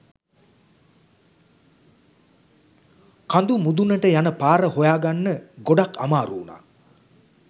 කඳු මුඳුනට යන පාර හොයාගන්න ගොඩක් අමාරු වුනා